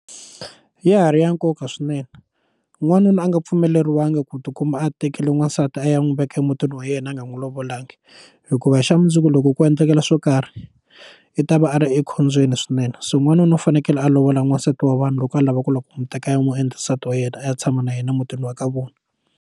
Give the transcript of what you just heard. Ya ha ri ya nkoka swinene n'wanuna a nga pfumeleriwangi ku tikuma a tekile n'wansati a ya n'wi veka emutini wa yena a nga n'wi lovolangi hikuva hi xa mundzuku loko ko endlekela swo karhi i ta va a ri ekhombyeni swinene so n'wanuna u fanekele a lovola n'wansati wa vanhu loko a lava ku lava ku n'wi teka ya n'wi endla nsati wa yena a ya tshama na yena mutini wa ka vona.